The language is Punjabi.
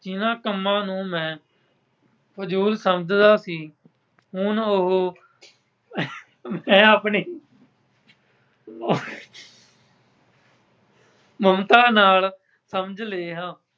ਇਹਨਾ ਕੰਮਾਂ ਨੂੰ ਮੈਂ ਫਜ਼ੂਲ ਸਮਝਦਾ ਸੀ। ਹੁਣ ਉਹ ਮੈਂ ਆਪਣੇ ਮਮਤਾ ਨਾਲ ਸਮਝ ਲਿਆ।